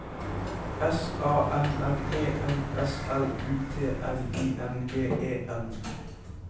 S A M M E N S L U T N I N G E N